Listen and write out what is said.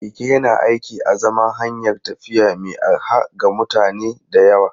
Keke yana aiki a zaman hanyar tafiya mai arha ga mutane da yawa.